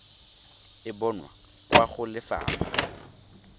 e bonwa kwa go lefapha